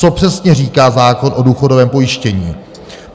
Co přesně říká zákon o důchodovém pojištění?